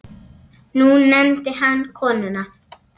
Nú nefndi hann konuna